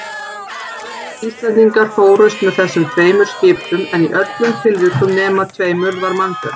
Sjö Íslendingar fórust með þessum skipum en í öllum tilvikum nema tveimur varð mannbjörg.